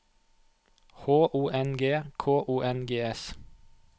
H O N G K O N G S